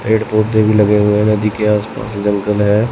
Red पौधे भी लगे हुए हैं नदी के आस पास जंगल है।